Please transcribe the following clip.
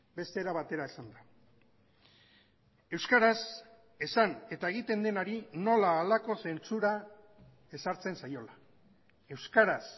beste era batera esanda euskaraz esan eta egiten denari nola halako zentzura ezartzen zaiola euskaraz